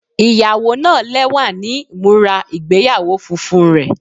Iyawo naa lẹwa ni imura igbeyawo funfun rẹ